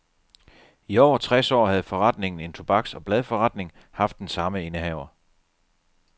I over tres år havde forretningen, en tobaks og bladforretning, haft den samme indehaver.